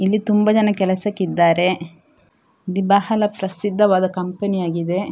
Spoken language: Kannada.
ಇಲ್ಲಿ ತುಂಬ ಜನ ಕೆಲಸಕ್ಕೆ ಇದ್ದಾರೆ ಇದು ಬಹಳ ಪ್ರಸಿದ್ಧವಾದ ಕಂಪೆನಿಯಾಗಿದೆ .